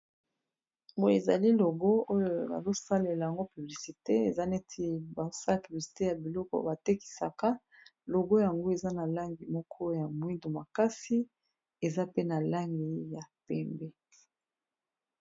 boyi ezali logo oyo bazosalela yango publicite eza neti basa ya publisite ya biloko batekisaka logo yango eza na langi moko ya mwindu makasi eza pe na langi ya pembe